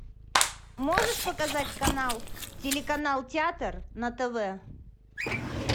можешь показать канал телеканал театр на тв